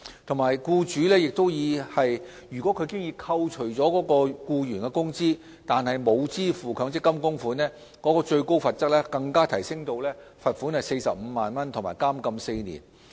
另外，如僱主已扣除僱員工資卻沒有支付強積金供款，最高罰則更提升至罰款45萬元及監禁4年。